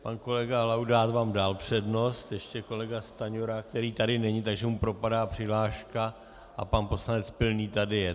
Pan kolega Laudát vám dal přednost, ještě kolega Stanjura, který tady není, takže mu propadá přihláška a pan poslanec Pilný tady je.